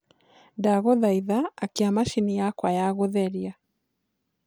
ndagũthaĩtha akĩa machĩnĩ yakwa ya gutherĩa